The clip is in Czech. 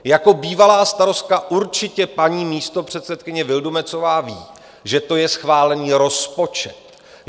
Jako bývalá starostka určitě paní místopředsedkyně Vildumetzová ví, že to je schválený rozpočet.